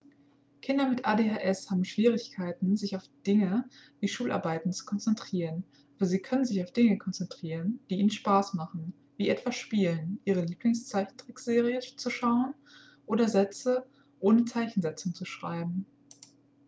kinder mit adhs haben schwierigkeiten sich auf dinge wie schularbeiten zu konzentrieren aber sie können sich auf dinge konzentrieren die ihnen spaß machen wie etwa spielen ihre lieblingszeichentrickserie zu schauen oder sätze ohne zeichensetzung zu schreiben